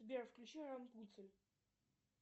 сбер включи рапунцель